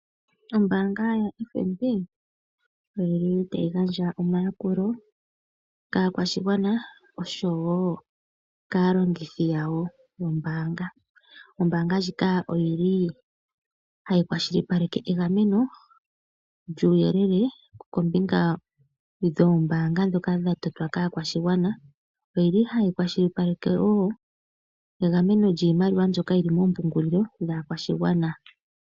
Ombaanga yaFNB otayi gandja omayakulo kaakwashigwana noshowo kaalongithi yawo yombaanga. Ombaanga ndjika ohayi kwashilipaleke egameno lyuuyelele kombinga yoombaanga ndhoka dha totwa kaakwashigwana. Ohayi kwashilipaleke wo egameno lyiimaliwa mbyoka yi li moompungulilo dhaakwashigwana.